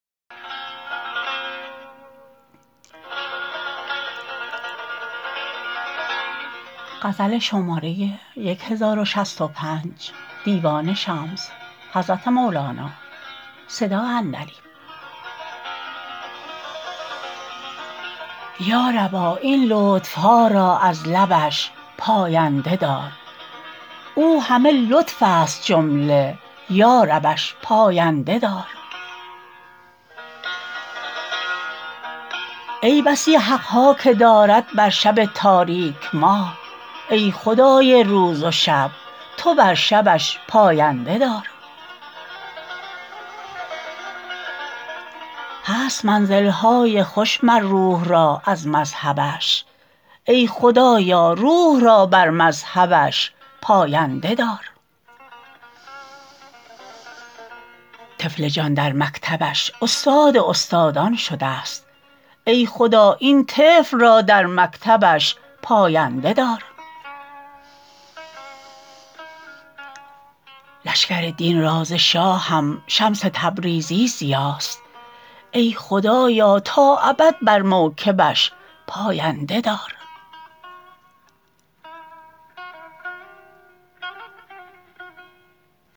یا ربا این لطف ها را از لبش پاینده دار او همه لطفست جمله یا ربش پاینده دار ای بسی حق ها که دارد بر شب تاریک ماه ای خدای روز و شب تو بر شبش پاینده دار هست منزل های خوش مر روح را از مذهبش ای خدایا روح را بر مذهبش پاینده دار طفل جان در مکتبش استاد استادان شدست ای خدا این طفل را در مکتبش پاینده دار لشکر دین را ز شاهم شمس تبریزی ضیاست ای خدایا تا ابد بر موکبش پاینده دار